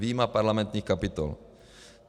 Vyjma parlamentních kapitol.